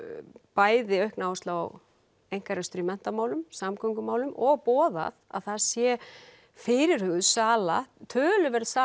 bæði aukna áherslu á einkarekstur í menntamálum samgöngumálum og boðað að þar sé fyrirhuguð sala töluverð sala